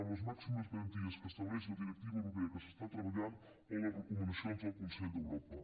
amb les màximes garanties que estableix la directiva europea que s’està treballant o les recomanacions del consell d’europa